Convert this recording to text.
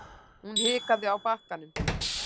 Hún hikaði á bakkanum.